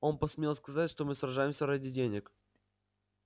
он посмел сказать что мы сражаемся ради денег